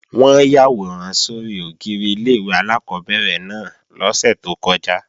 Wọ́n yàwòrán sórí ògiri ilé-ìwé alákọ́bẹ̀rẹ̀ náà lọ́sẹ̀ tó kọjá